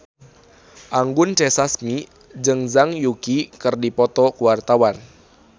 Anggun C. Sasmi jeung Zhang Yuqi keur dipoto ku wartawan